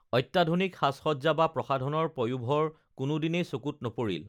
অত্যাধুনিক সাজসজ্জা বা প্ৰসাধনৰ পয়োভৰ কোনোদিনেই চকুত নপৰিল